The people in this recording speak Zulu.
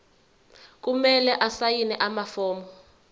kumele asayine amafomu